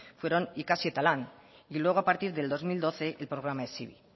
fueron ikasi eta lan y luego a partir del dos mil doce el programa hezibi